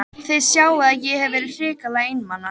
Þið sjáið að ég hef verið hrikalega einmana!